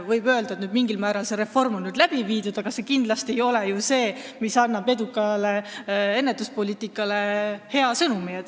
Võib öelda, et mingil määral on see reform nüüd läbi viidud, aga see kindlasti ei ole ju see, mis annab eduka ennetuspoliitika hea sõnumi.